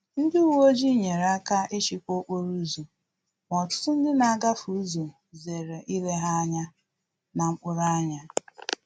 Ndị uweojii nyere aka ijikwa okporo ụzọ, ma ọtụtụ ndị na-agafe ụzọ zere ile ha anya na mkpụrụ anya